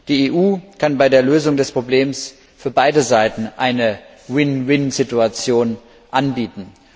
Die EU kann bei der Lösung des Problems für beide Seiten eine Win win Situation anbieten.